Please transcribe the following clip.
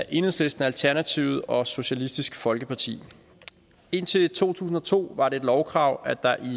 enhedslisten alternativet og socialistisk folkeparti indtil to tusind og to var det et lovkrav at der